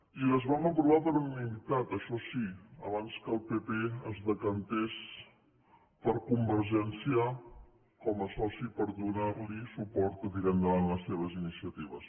i les vam aprovar per unanimitat això sí abans que el pp es decantés per convergència com a soci per donar li suport per tirar endavant les seves iniciatives